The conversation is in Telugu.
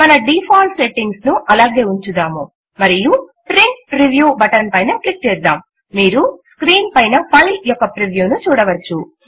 మన డిఫాల్ట్ సెట్టింగ్స్ ను అలాగే ఉంచుదాము మరియు ప్రింట్ ప్రివ్యూ బటన్ పైన క్లిక్ చేద్దాం మీరు స్క్రీన్ పైన ఫైల్ యొక్క ప్రివ్యూ ను చూడవచ్చు